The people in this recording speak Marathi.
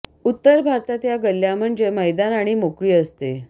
उत्तर भारतात या गल्ल्या म्हणजे मैदान आणि मोकळी असते